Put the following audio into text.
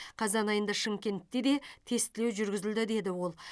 қазан айында шымкентте де тестілеу жүргізілді деді ол